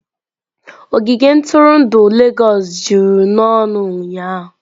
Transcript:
Ogige ntụrụndụ Legọs juru n'ọnụ ụnyahụ.